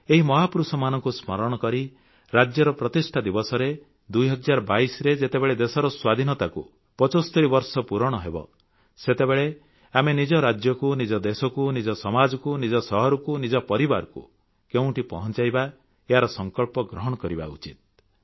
ଏହି ମହାପୁରୁଷମାନଙ୍କୁ ସ୍ମରଣ କରି ରାଜ୍ୟର ପ୍ରତିଷ୍ଠା ଦିବସରେ 2022 ରେ ଯେତେବେଳେ ଦେଶର ସ୍ୱାଧୀନତାକୁ 75 ବର୍ଷ ପୂରଣ ହେବ ସେତେବେଳେ ଆମେ ନିଜ ରାଜ୍ୟକୁ ନିଜ ଦେଶକୁ ନିଜ ସମାଜକୁ ନିଜ ସହରକୁ ନିଜ ପରିବାରକୁ କେଉଁଠି ପହଂଚାଇବା ଏହାର ସଂକଳ୍ପ ଗ୍ରହଣ କରିବା ଉଚିତ୍